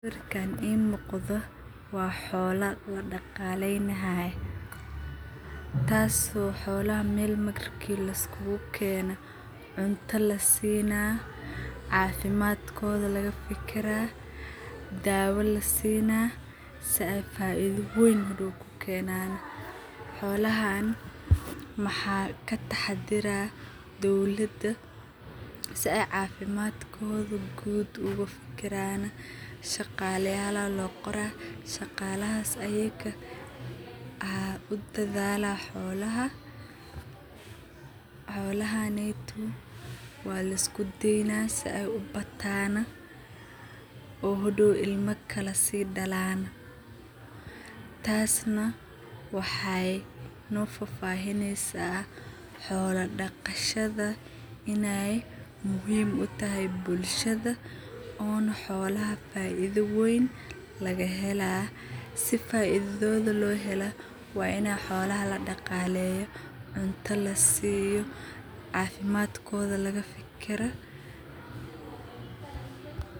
Sawirkaan ii muqdo waa xoolo ladagaleynayo, taaso oo xoolaha marka meel laiskukeeno cunta laseena, cafimadkoodha lakafikiraa, daawa lasiina sidha faidha wayn hadaw u keenan. Xoolahan maxa ka tahadira dawlaada sidha cafimadkoodha guud uga fikiraan sahagalayala loo qoraa shagalahas ayaka aa u dadhala xoolaha. Xoolahaneeto waa laiskudeyna si ay uabatana oo hadaw ilma kala sii dalan taas na waxay no fafahinysa xoola dagashada inay muhiim u tahay bulashada ona xoolaha faidha wayn lagahela. Si faidhodha loo hela waa ina xoolaha ladagaleeyo cunta lasiyo cafimadkodha laga fikira.